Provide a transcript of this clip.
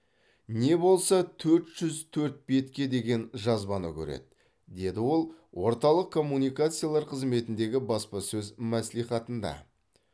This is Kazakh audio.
не болмаса төрт жүз төрт бетке деген жазбаны көреді деді ол орталық коммуникациялар қызметіндегі баспасөз мәслихатында